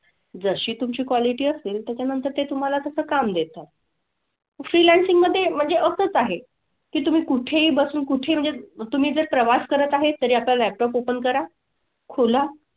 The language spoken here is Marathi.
जशी तुमची quality असेल त्याच्यानंतर ते तुम्हाला तसं काम देतात. Freelancing मधे म्हणजे असंच आहे की तुम्ही कुठेही बसून कुठे म्हणजे तुम्ही जर प्रवास करत आहे तरी आपला laptop open करा. खोला.